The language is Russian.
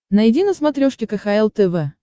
найди на смотрешке кхл тв